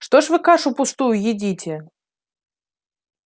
что ж вы кашу пустую едите